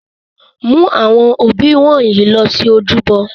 Mu awọn obí wọnyi lọ si ojúbọ!